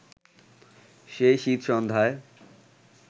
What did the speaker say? সেই শীতসন্ধ্যায়